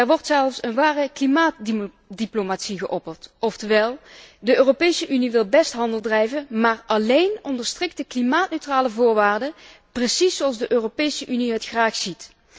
Er wordt zelfs een ware klimaatdiplomatie geopperd, oftewel, de Europese Unie wil best handel drijven, maar alleen onder strikte klimaatneutrale voorwaarden, precies zoals de Europese Unie die graag ziet.